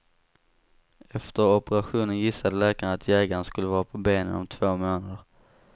Efter operationen gissade läkarna att jägaren skulle vara på benen om två månader.